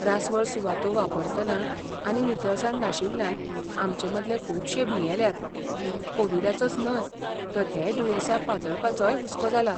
रासवळ सुवातो वापरतना आनी नितळसाण नाशिल्ल्यान आमचेमदले खुबशे भियेल्यात, कोविडाचोच न्हय तर हेर दुयेंसां पातळपाचोय हुस्को जाला.